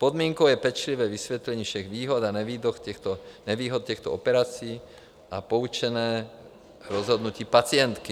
Podmínkou je pečlivé vysvětlení všech výhod a nevýhod těchto operací a poučené rozhodnutí pacientky.